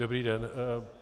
Dobrý den.